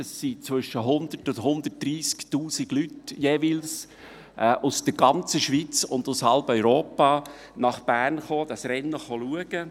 Zwischen 100 000 und 130 000 Leute kamen jeweils aus der ganzen Schweiz und aus halb Europa nach Bern, um dieses Rennen zu sehen.